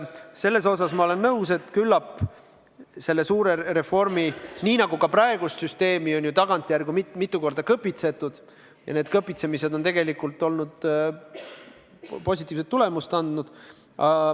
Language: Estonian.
Selles osas ma olen nõus, et praegust süsteemi on tagantjärele mitu korda kõpitsetud ja need kõpitsemised on tegelikult positiivset tulemust andnud.